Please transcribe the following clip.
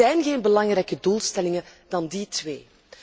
Er zijn geen belangrijkere doelstellingen dan die twee.